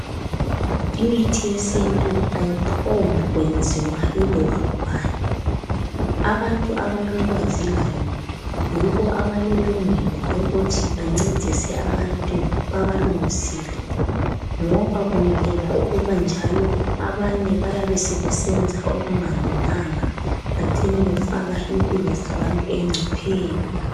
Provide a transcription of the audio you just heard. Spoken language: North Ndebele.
Imithi yesintu ayiphombu kwenziwa yiloba ngubani. Abantu abalolwazi layo yibo abalelungelo lokuthi bancedise abantu babalungisele ngoba kungekela ukuba njalo abanye bayabe sebesenza okunga lunganga becine befaka impilo zabantu engcopheni.